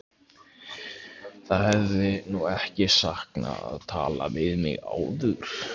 Það hefði nú ekki sakað að tala við mig áður!